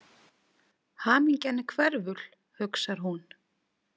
Hamingjan er hverful, hugsar hún.